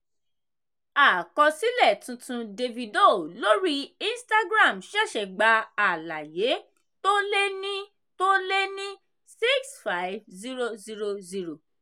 àkọsílẹ̀ tuntun davido lórí instagram ṣẹ̀ṣẹ̀ gba àlàyé tó lé ní tó lé ní 65000.